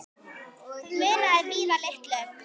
Það munaði víða litlu.